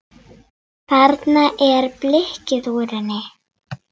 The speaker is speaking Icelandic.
Þarna er blikkið úr henni.